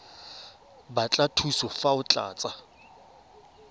batla thuso fa o tlatsa